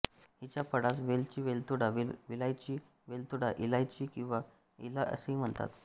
हिच्या फळास वेलची वेलदोडा विलायची वेलदोडा इलायची किंवा एला असेही म्हणतात